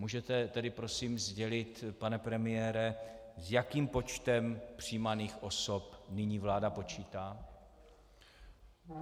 Můžete tedy prosím sdělit, pane premiére, s jakým počtem přijímaných osob nyní vláda počítá?